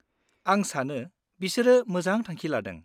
-आं सानो बिसोरो मोजां थांखि लादों।